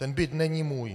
Ten byt není můj.